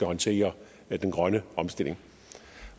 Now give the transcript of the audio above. håndtere den grønne omstilling